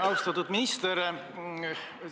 Austatud minister!